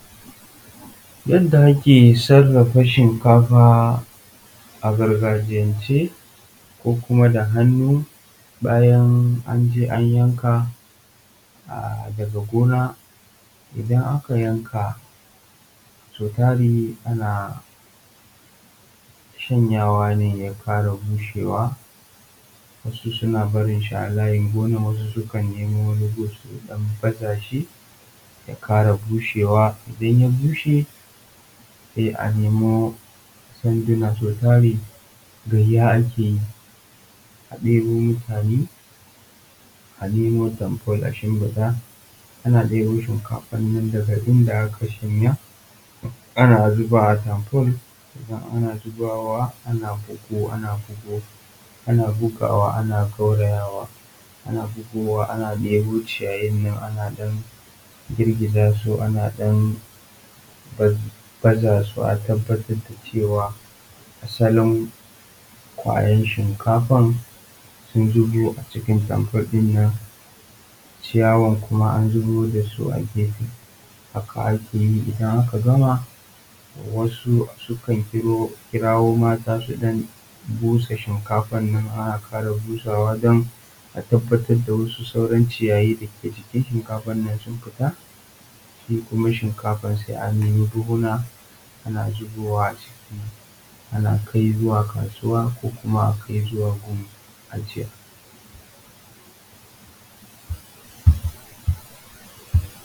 Yadda ake sarrafa shinkafa a gargajiyance bayan an je an yanko daga gona galibi ana shanyawa ne ya fara bushewa in ya bushe sai a nemo sanduna na fyada a nemo tamfol a shimfida ana zubawa ana bugawa, tabbatar da cewa asalin kwayar shinkafan sun zubo a cikin tamfol din, sannan a tabbatar da sauran ciyayin da ke jikin wannan shinkafan sun fita sai a dauko buhuna ana zubawa a ciki sai a kai kasuwa ko kuma a kawo su gida a dafa a ci.